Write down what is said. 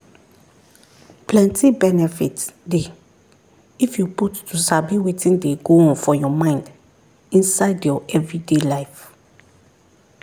plenty benefit dey if you put to sabi wetin dey go on for your mind inside your everyday life.